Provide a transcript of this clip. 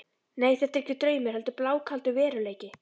Nei, þetta er ekki draumur heldur blákaldur veruleiki.